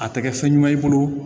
A tɛ kɛ fɛn ɲuman i bolo